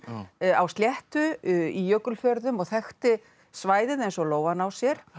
á sléttu í Jökulfjörðum og þekkti svæðið eins og lófann á sér